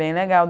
Bem legal.